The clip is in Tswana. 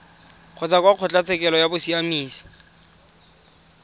kgotsa kwa kgotlatshekelo ya bosiamisi